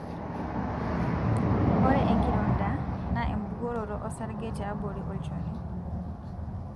ore enkirondaa na ebukoroto osarge tiabori olchoni.